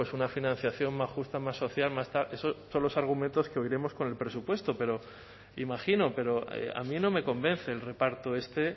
una financiación más justa más social más tal esos son todos los argumentos que oiremos con el presupuesto imagino pero a mí no me convence el reparto este